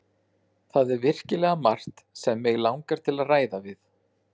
Það er virkilega margt sem mig langar til að ræða við